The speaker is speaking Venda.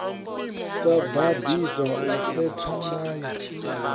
sa ḓaḓisi u setha ndayo